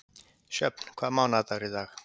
Sjöfn, hvaða mánaðardagur er í dag?